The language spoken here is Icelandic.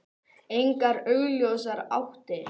Engar augljósar áttir.